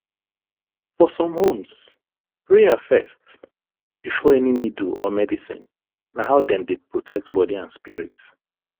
for some homes prayer first before any needle or medicine na how dem dey protect body and spirit